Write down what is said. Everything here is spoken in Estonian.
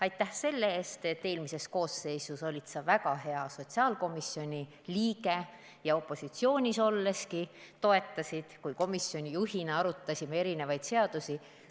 Aitäh selle eest, et eelmises koosseisus olid sa väga hea sotsiaalkomisjoni liige ja opositsioonis olleski toetasid, kui ma olin komisjoni juht ja me arutasime erinevaid seadusi!